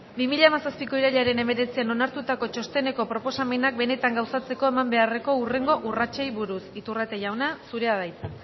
bi mila hamazazpiko irailaren hemeretzian onartutako txosteneko proposamenak benetan gauzatzeko eman beharreko hurrengo urratsei buruz iturrate jauna zurea da hitza